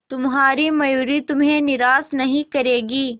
तुम्हारी मयूरी तुम्हें निराश नहीं करेगी